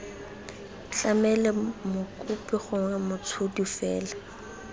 tlamele mokopi gongwe motshodi fela